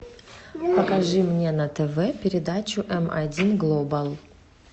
покажи мне на тв передачу эм один глобал